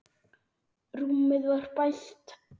Rúmið var bælt.